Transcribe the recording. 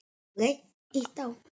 Afa var skemmt.